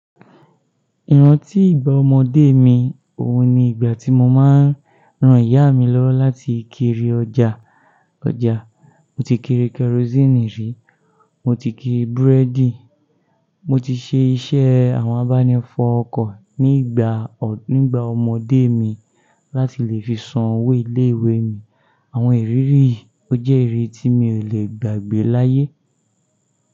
Ìrántí ìgbà ọmọdé mi, òun ni ìgbà tí mo máa ń rán ìyá mi lọ́wọ́ láti kiri ọjà. Ọjà, mo ti kiri kerosini rí, mo ti kiri búrẹ́dì, mo ti ṣe iṣẹ́ àwọn abánifọ̀ ọkọ̀ nígbà, nígbà ọmọdé mi láti lè fi san owó ilé-ìwé mi. Àwọn ìrírí yìí ó jẹ́ èyí tí mi ò lè gbàgbé láyé.